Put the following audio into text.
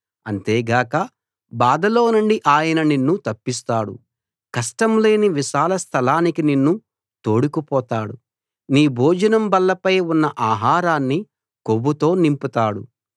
అంతేగాక బాధలోనుండి ఆయన నిన్ను తప్పిస్తాడు కష్టం లేని విశాల స్థలానికి నిన్ను తోడుకుపోతాడు నీ భోజనం బల్లపై ఉన్న ఆహారాన్ని కొవ్వుతో నింపుతాడు